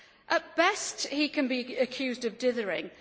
At best, he can be accused of dithering.